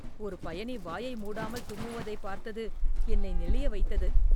ஒரு பயணி வாயை மூடாமல் தும்முவதைப் பார்த்தது என்னை நெளிய வைத்தது